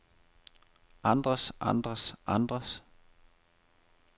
andres andres andres